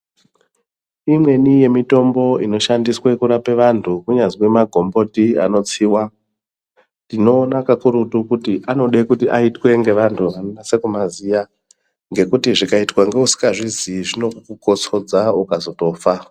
Imweni ye mitombo ino shandiswe kurapa antu kunyazwi makomboti ano tsiva tinoona kakurutu kuti anode kuti aitwe nge antu ano nyasa kuma ziva ngekuti zvikaitwa nge vasinga zviziyi zvinoku kosodza ukazotofa.